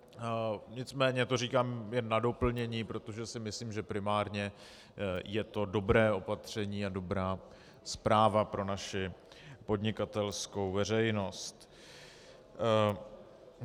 Nicméně to říkám jen na doplnění, protože si myslím, že primárně je to dobré opatření a dobrá zpráva pro naši podnikatelskou veřejnost.